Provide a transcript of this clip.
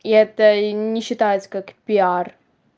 и это не считается как пиар